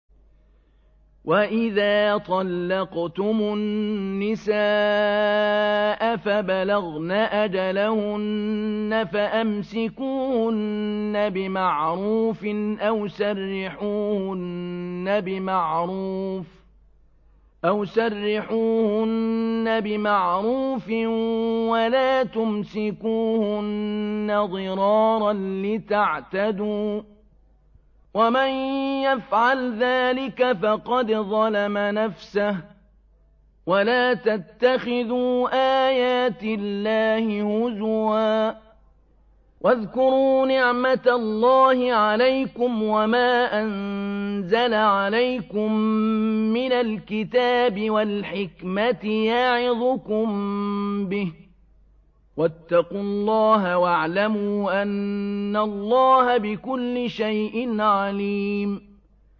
وَإِذَا طَلَّقْتُمُ النِّسَاءَ فَبَلَغْنَ أَجَلَهُنَّ فَأَمْسِكُوهُنَّ بِمَعْرُوفٍ أَوْ سَرِّحُوهُنَّ بِمَعْرُوفٍ ۚ وَلَا تُمْسِكُوهُنَّ ضِرَارًا لِّتَعْتَدُوا ۚ وَمَن يَفْعَلْ ذَٰلِكَ فَقَدْ ظَلَمَ نَفْسَهُ ۚ وَلَا تَتَّخِذُوا آيَاتِ اللَّهِ هُزُوًا ۚ وَاذْكُرُوا نِعْمَتَ اللَّهِ عَلَيْكُمْ وَمَا أَنزَلَ عَلَيْكُم مِّنَ الْكِتَابِ وَالْحِكْمَةِ يَعِظُكُم بِهِ ۚ وَاتَّقُوا اللَّهَ وَاعْلَمُوا أَنَّ اللَّهَ بِكُلِّ شَيْءٍ عَلِيمٌ